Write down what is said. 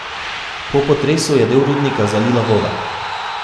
Po potresu je del rudnika zalila voda.